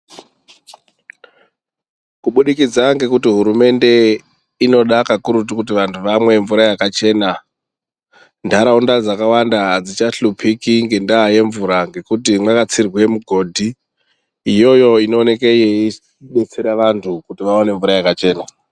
Kubudikidza ngekuti hurumende inoda kakurutu kuti vantu vamwe mvura yakachena. Ntaraunda dzakawanda hadzichahlupiki ngendaa yemvura ngekuti mwakatsirwe migodhi iyoyo inooneke yeibetsera vantu kuti vaone mvura yakachena.